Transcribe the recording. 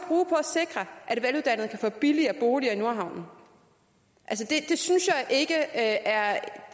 sikre at veluddannede kan få billigere boliger i nordhavnen det synes jeg ikke er